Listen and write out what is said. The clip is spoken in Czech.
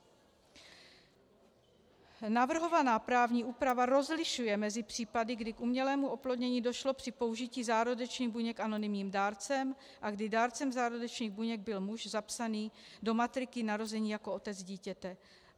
Navrhovaná právní úprava rozlišuje mezi případy, kdy k umělému oplodnění došlo při použití zárodečných buněk anonymním dárcem a kdy dárcem zárodečných buněk byl muž zapsaný do matriky narození jako otec dítěte.